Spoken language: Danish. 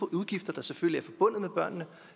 udgifter der selvfølgelig er forbundet med børnene